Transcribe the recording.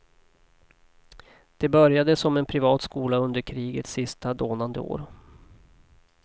Det började som en privat skola under krigets sista dånande år.